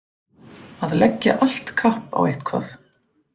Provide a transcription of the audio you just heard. Að leggja allt kapp á eitthvað